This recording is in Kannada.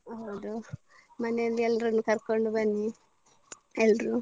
ಹೌದಾ. ಮನೇಲಿ ಎಲ್ರನ್ನು ಕರ್ಕೊಂಡು ಬನ್ನಿ ಎಲ್ರು.